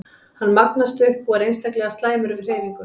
Hann magnast upp og er sérstaklega slæmur við hreyfingu.